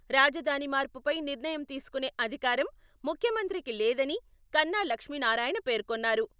రాజధాని మార్పుపై నిర్ణయం తీసుకునే అధికారం ముఖ్యమంత్రికి లేదని కన్నా లక్ష్మీనారాయణ పేర్కొన్నారు.